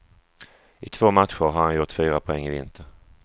I två matcher har han gjort fyra poäng i vinter.